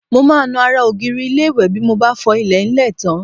Mo máa ń nu ara ògiri ilé-ìwẹ̀ bí mo bá fọ ilẹ̀ńlẹ̀ tán